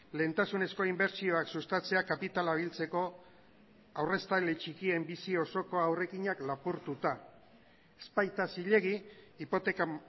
lehentasunezko inbertsioak sustatzea kapitala biltzeko aurreztaile txikien bizi osoko aurrekinak lapurtuta ez baita zilegi hipoteka